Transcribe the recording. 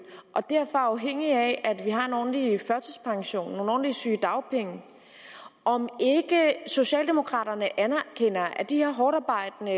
og derfor er afhængige af at vi har en ordentlig førtidspension og nogle ordentlige sygedagpenge og om ikke socialdemokraterne anerkender at de her hårdtarbejdende